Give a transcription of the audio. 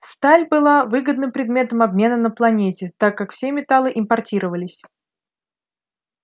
сталь была выгодным предметом обмена на планете так как все металлы импортировались